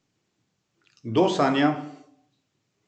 Kdo sanja?